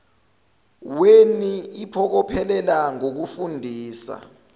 weni iphokophele ngokufundisa